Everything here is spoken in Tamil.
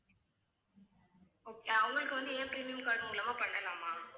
okay அவங்களுக்கு வந்து என் premium card மூலமா பண்ணலாமா